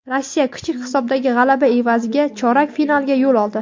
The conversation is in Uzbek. Rossiya kichik hisobdagi g‘alaba evaziga chorak finalga yo‘l oldi.